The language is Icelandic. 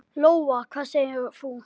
Lóa: Hvað segir þú?